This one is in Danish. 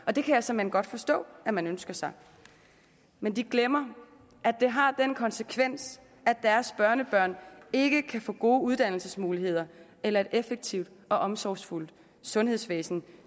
og det kan jeg såmænd godt forstå at man ønsker sig men de glemmer at det har den konsekvens at deres børnebørn ikke kan få gode uddannelsesmuligheder eller et effektivt og omsorgsfuldt sundhedsvæsen